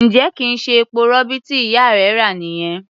Ǹjẹ́ kì í ṣe epo-rọ̀bì tí ìyá rẹ rà nìyẹn?